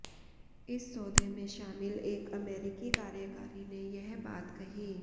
इस सौदे में शामिल एक अमेरिकी कार्यकारी ने यह बात कही